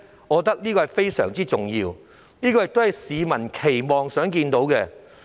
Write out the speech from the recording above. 我認為這是非常重要的，也是市民期望看到的。